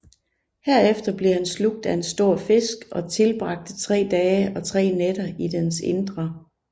Herefter blev han slugt af en stor fisk og tilbragte tre dage og tre nætter i dens indre